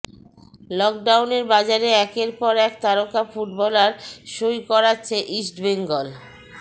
লকডাউনের বাজারে একের পর এক তারকা ফুটবলার সই করাচ্ছে ইষ্টবেঙ্গল